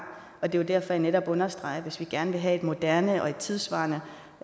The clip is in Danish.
og det er derfor jeg netop understreger at hvis vi gerne vil have et moderne og tidssvarende